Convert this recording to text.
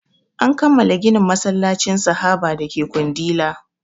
An kammala ginin masallacin sahaba dake kundila